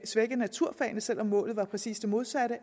svække naturfagene selv om målet var præcis det modsatte